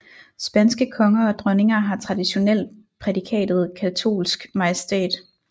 Spanske konger og dronninger har traditionelt prædikatet katolsk majestæt